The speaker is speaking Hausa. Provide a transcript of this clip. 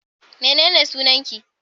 mene ne sunanki?